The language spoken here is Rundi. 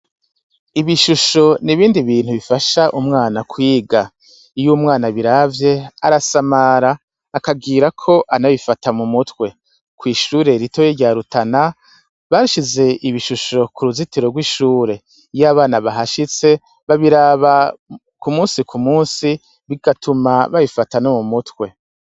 Ibishusho n'ibindi bintu bifasha umwana kwiga iyo umwana abiravye arasamara akagirako anabifata mu mutwe kwishure ritoya rya rutana bashize ibishusho ku ruzitiro rw'ishure iyo abana bahashitse babiraba ku munsi ku munsi bigatuma babifata no mu mutwe.